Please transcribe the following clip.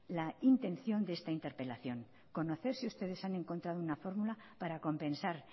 la intención de esta interpelación conocer si ustedes han encontrado una fórmula para compensar